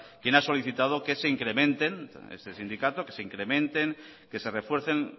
quien ha solicitado que se incrementen que se refuercen